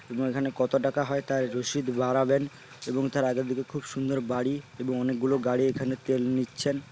এবং এখানে কতো টাকা হয় তার রসিদ বাড়াবেন এবং তার আগের দিকে খুব সুন্দর বাড়ি এবং অনেকগুলো গাড়ি এখানে তেল নিচ্ছেন।